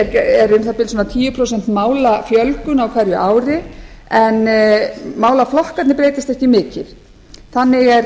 um það bil svona tíu prósent málafjölgun á hverju ári en málaflokkarnir breytast ekki mikið þannig er